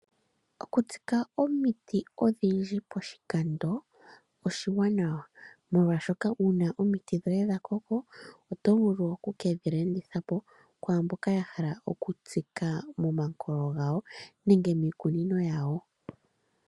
Oku tsika omiti odhindji poshikando oshiwanawa, molwaashoka una omiti dhoye dha koko oto vulu okuke dhi landithapo kwaamboka ya hala okutsika momakoye gawo nenge miikunino yawo.